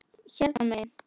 Hérna megin.